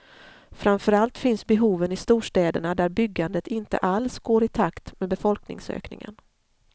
Framför allt finns behoven i storstäderna där byggandet inte alls går i takt med befolkningsökningen.